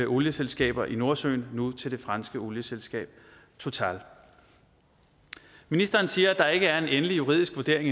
olieselskaber i nordsøen nu til det franske olieselskab total ministeren siger at der endnu ikke er en endelig juridisk vurdering